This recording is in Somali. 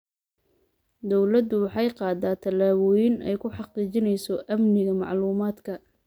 Dawladdu waxay qaaddaa tallaabooyin ay ku xaqiijinayso amniga macluumaadka.